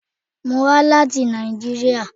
Mo wa lati Nàìjíríà.